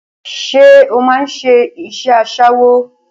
Ṣé o máà ń ṣe aṣẹ́wó?